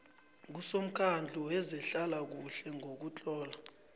kusomkhandlu wezehlalakuhle ngokutlola